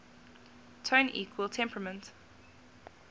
tone equal temperament